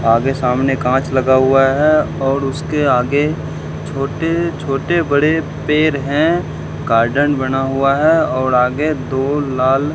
आगे सामने कांच लगा हुआ है और उसके आगे छोटे छोटे बड़े पेड़ हैं गार्डन बना हुआ है और आगे दो लाल--